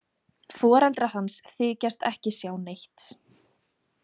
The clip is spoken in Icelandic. Foreldrar hans þykjast ekki sjá neitt.